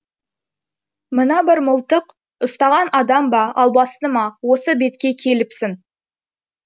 мына бір мылтық ұстаған адам ба албасты ма осы бетке келіпсің